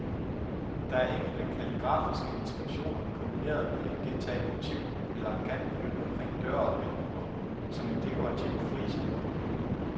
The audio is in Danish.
Der er enkelte kalligrafiske inskriptioner kombineret med et gentaget motiv eller en kant benyttet omkring døre og vinduer som en dekorativ frise på en bygning.